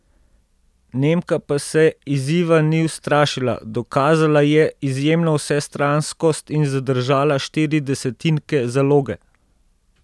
Nemka pa se izziva ni ustrašila, dokazala je izjemno vsestranskost in zadržala štiri desetinke zaloge.